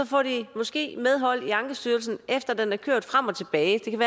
får de måske medhold i ankestyrelsen efter den er kørt frem og tilbage